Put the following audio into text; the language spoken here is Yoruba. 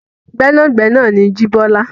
Gbẹ́nàgbẹnà ni Jíbọ́lá.